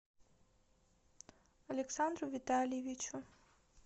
александру витальевичу